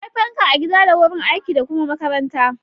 Akwai fanka a gida da wurin aiki da kuma makaranta.